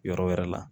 Yɔrɔ wɛrɛ la